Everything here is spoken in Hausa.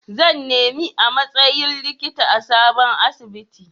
Zan nemi a matsayin likita a sabon asibiti.